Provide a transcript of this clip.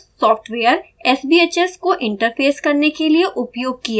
एक open source software sbhs को interface करने के लिए उपयोग किया जाता है